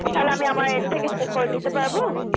তাহলে আমি আমার end থেকে check করে নিতে পারবো।